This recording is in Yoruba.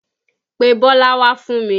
Pe Bọ́lá wá fún mi!